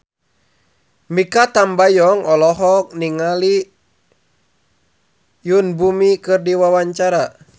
Mikha Tambayong olohok ningali Yoon Bomi keur diwawancara